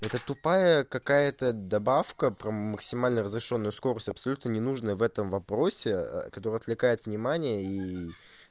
это тупая какая-то добавка про максимально разрешённую скорость абсолютно ненужная в этом вопросе которая отвлекает внимание и